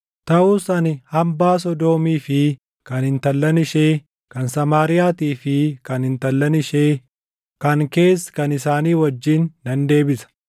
“ ‘Taʼus ani hambaa Sodoomii fi kan intallan ishee, kan Samaariyaatii fi kan intallan ishee, kan kees kan isaanii wajjin nan deebisa;